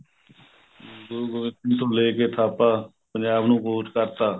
ਹਮ ਗੁਰੂ ਗੋਬਿੰਦ ਸਿੰਘ ਤੋਂ ਲੈ ਕੇ ਥਾਪਾ ਪੰਜਾਬ ਨੂੰ ਕੂਚ ਕਰਤਾ